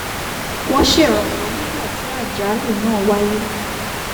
wọ́n ṣèrànwọ́ nígbà tí àjálù náà wáyé